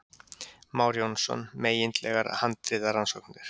Már Jónsson, Megindlegar handritarannsóknir